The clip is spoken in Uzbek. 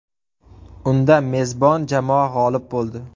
Unda mezbon jamoa g‘olib bo‘ldi.